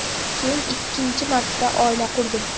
Keyin ikkinchi marta oila qurdim.